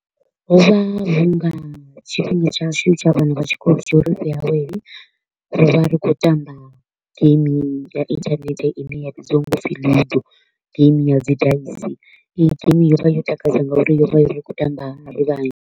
Ho vha hu nga tshifhinga tshashu tsha vhana vha tshikolo tshauri ri awele, ro vha ri khou tamba game ya internet i ne ya vhidziwa u pfi Lego, game ya dzi dice. Iyi game yo vha yo takadza nga uri yo vha yo ri kho u tamba ri vhanzhi.